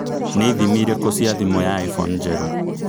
nĩ ithimi ĩrĩkũ cia thimũ ya iphone njerũ